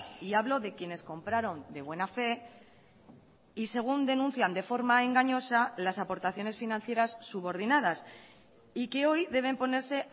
y hablo de quienes compraron de buena fe y según denuncian de forma engañosa las aportaciones financieras subordinadas y que hoy deben ponerse